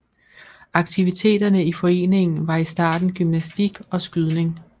Aktiviteterne i foreningen var i starten gymnastik og skydning